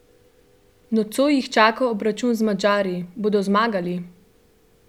Nocoj jih čaka obračun z Madžari, bodo zmagali?